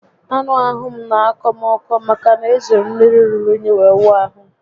Anụ ahụ m n'akọ m ọkọ maka na e jiri mmiri ruru únyí were wụọ ahụ